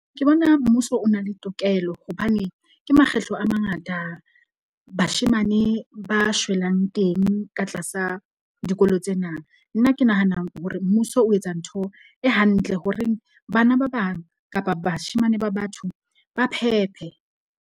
Ke bona mmuso o na le tokelo hobane ke makgetlo a mangata bashemane ba shwelang teng ka tlasa dikolo tsena. Nna ke nahanang hore mmuso o etsa ntho e hantle horeng bana ba bang kapa bashemane ba batho ba phephe.